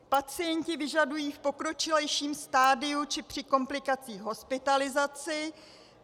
Pacienti vyžadují v pokročilejším stadiu či při komplikacích hospitalizaci.